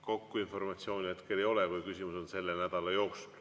Kogu informatsiooni hetkel ei ole, kui küsimus on selle nädala kohta.